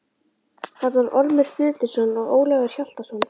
Þarna var Ormur Sturluson og Ólafur Hjaltason.